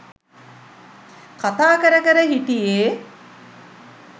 කතා කර කර හිටියේ.